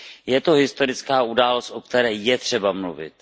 Je to historická událost, o které je třeba mluvit.